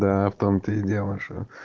да в том то и дело что